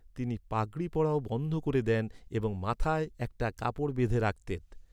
তিনি পাগড়ি পরাও বন্ধ করে দেন এবং মাথায় একটা কাপড় বেঁধে রাখতেন।